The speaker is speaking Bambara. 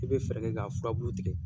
I bɛ fɛɛrɛ kɛ ka fulaburu tigɛ.